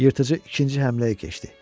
Yırtıcı ikinci həmləyə keçdi.